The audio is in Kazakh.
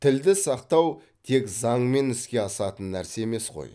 тілді сақтау тек заңмен іске асатын нәрсе емес қой